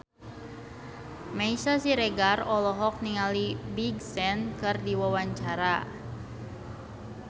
Meisya Siregar olohok ningali Big Sean keur diwawancara